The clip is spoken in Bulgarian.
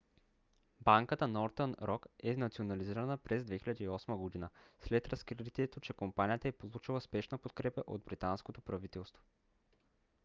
банката northern rock е национализирана през 2008 г. след разкритието че компанията е получила спешна подкрепа от британското правителство